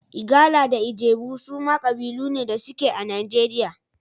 Igala da Ijebu suma kabilu ne da suke a Najeriya.